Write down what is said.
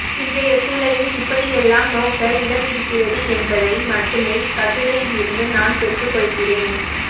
இன்றைய சூழலில் இப்படியெல்லாம் நோக்க இடமிருக்கிறது என்பதை மட்டுமே இக்கட்டுரையிலிருந்து நான் பெற்றுக்கொள்கிறேன்